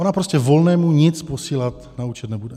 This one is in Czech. Ona prostě Volnému nic posílat na účet nebude.